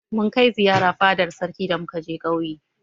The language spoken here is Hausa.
Mun kai ziyara fadar sarki da muka je ƙauye.